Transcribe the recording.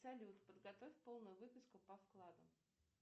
салют подготовь полную выписку по вкладам